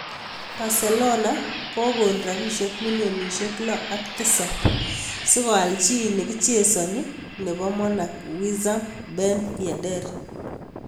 [Kioit] Barcelona kagon rabisiek milionisiek lok ak tisap si koal chi nekichesani nebo Monac Wissam Ben Yedder.